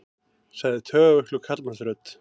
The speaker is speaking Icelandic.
sagði taugaveikluð karlmannsrödd.